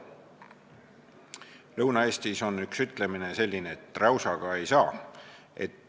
Lõuna-Eestis on üks selline ütlemine, et räusaga ei saa.